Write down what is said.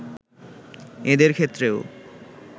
এঁদের ক্ষেত্রেও